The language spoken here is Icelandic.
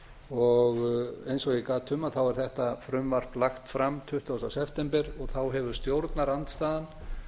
og eins og ég gat um er þetta frumvarp lagt fram tuttugasta september og þá hefur stjórnarandstaðan